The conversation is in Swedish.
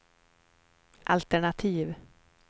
altenativ